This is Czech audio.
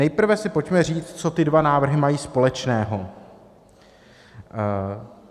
Nejprve si pojďme říct, co ty dva návrhy mají společného.